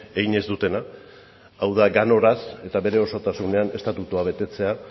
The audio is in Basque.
egin ez dutena hau da ganoraz eta bere osotasunean estatutua betetzea